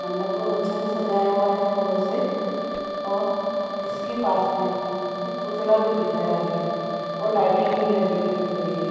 मंडप पूरा अच्छा से सजाय हुआ है फूलों से और इसके पास मे एक पुतला भी दिख रहा है और लाइटिंग भी लगी हुई दिख रही है ।